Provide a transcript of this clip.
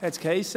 Es hiess: